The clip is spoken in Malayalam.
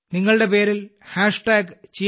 നിങ്ങളുടെ പേരിൽ ഞാൻ അവരെ പ്രോത്സാഹിപ്പിക്കും